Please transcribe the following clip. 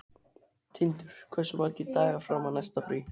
Tindur, hversu margir dagar fram að næsta fríi?